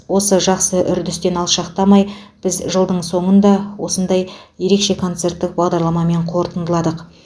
осы жақсы үрдістен алшақтамай біз жылдың соңын да осындай ерекше концерттік бағдарламамен қорытындыладық